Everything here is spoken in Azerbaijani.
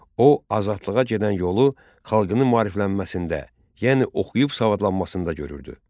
O, azadlığa gedən yolu xalqının maariflənməsində, yəni oxuyub savadlanmasında görürdü.